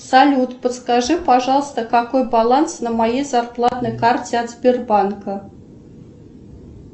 салют подскажи пожалуйста какой баланс на моей зарплатной карте от сбербанка